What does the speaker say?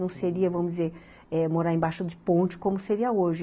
Não seria, vamos dizer, eh, morar embaixo de ponte como seria hoje.